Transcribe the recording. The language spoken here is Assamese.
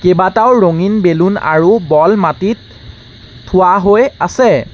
কেইবাটাও ৰঙীন বেলুন আৰু বল মাটিত থোৱা হৈ আছে।